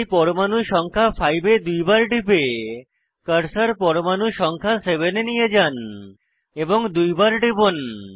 তাই পরমাণু সংখ্যা 5 এ দুইবার টিপে কার্সার পরমাণু সংখ্যা 7 এ নিয়ে যান এবং দুইবার টিপুন